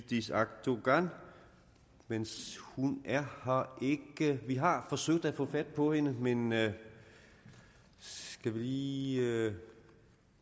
yildiz akdogan men hun er her ikke vi har forsøgt at få fat på hende hende skal vi lige